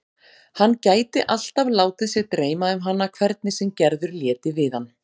Hann gæti alltaf látið sig dreyma um hana hvernig sem Gerður léti við hann.